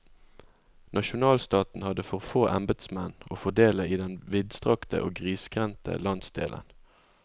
Nasjonalstaten hadde for få embetsmenn å fordele i den vidstrakte og grisgrendte landsdelen.